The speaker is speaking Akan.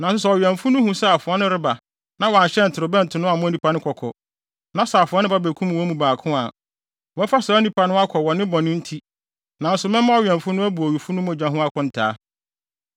Nanso sɛ ɔwɛmfo no hu sɛ afoa no reba na wanhyɛn torobɛnto no ammɔ nnipa no kɔkɔ, na sɛ afoa no ba bekum wɔn mu baako a, wɔbɛfa saa onipa no akɔ wɔ ne bɔne nti, nanso mɛma ɔwɛmfo no abu owufo no mogya ho akontaa.’